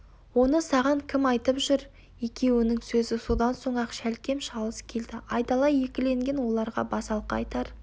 оны саған кім айтып жүр екеуінің сөзі содан соң-ақ шәлкем-шалыс келді айдала екіленген оларға басалқы айтар